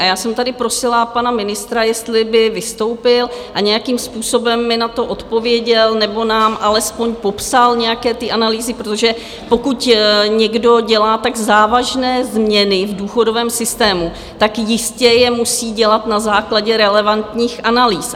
A já jsem tady prosila pana ministra, jestli by vystoupil a nějakým způsobem mi na to odpověděl nebo nám alespoň popsal nějaké ty analýzy, protože pokud někdo dělá tak závažné změny v důchodovém systému, tak jistě je musí dělat na základě relevantních analýz.